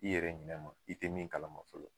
I yɛrɛ ɲinɛ ma i te min kalama fɔlɔ